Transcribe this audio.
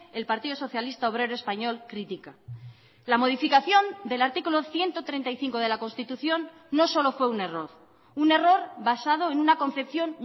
el partido socialista obrero español critica la modificación del artículo ciento treinta y cinco de la constitución no solo fue un error un error basado en una confección